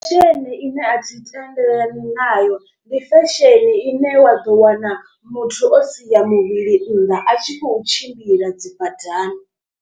Fesheni ine athi tendelani nayo, ndi fesheni ine wa ḓo wana muthu o sia muvhili nnḓa a tshi khou tshimbila dzi badani.